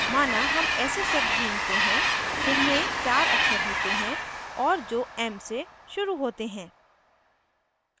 माना हम ऐसे शब्द ढूँढते हैं जिनमें चार अक्षर होते हैं और जो m से शुरू होते हैं